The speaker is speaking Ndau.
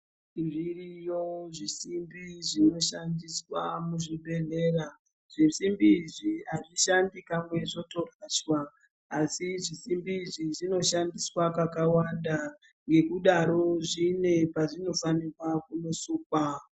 Zviriyo zvisimbi zvinoshandiswa muzvibhedhlera zvisimbi izvi azvishandi kamwe zvotorashwa asi zvisimbi izvi zvinoshandiswa kakawanda nekudaro zvine pazvinofanirwa kunosukwa.